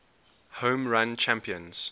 home run champions